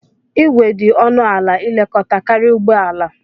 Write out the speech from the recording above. Igwe dị ọnụ ala ilekọta karịa ụgbọala.